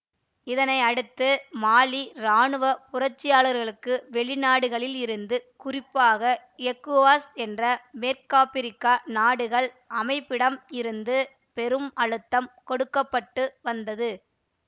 இதனை அடுத்து மாலி இராணுவ புரட்சியாளர்களுக்கு வெளிநாடுகளில் இருந்து குறிப்பாக எக்கோவாஸ் என்ற மேற்காப்பிரிக்க நாடுகள் அமைப்பிடம் இருந்து பெரும் அழுத்தம் கொடுக்க பட்டு வந்தது